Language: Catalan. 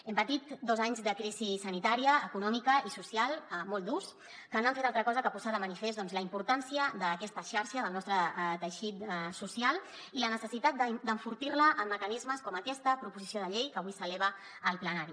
hem patit dos anys de crisi sanitària econòmica i social molt durs que no han fet altra cosa que posar de manifest doncs la importància d’aquesta xarxa del nostre teixit social i la necessitat d’enfortir la amb mecanismes com aquesta proposició de llei que avui s’eleva al plenari